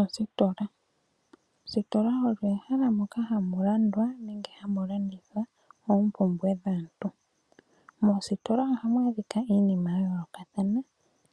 Ostola Ostola oyo ehala moka hamu landwa nenge hamu landithwa oompumbwe dhaantu. Moostola ohamu adhika iinima ya yoolokathana